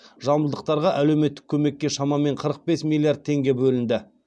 жамбылдықтарға әлеуметтік көмекке шамамен қырық бес миллиард теңге бөлінді